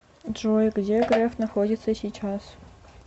джой где греф находится сейчас